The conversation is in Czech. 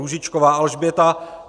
Růžičková Alžběta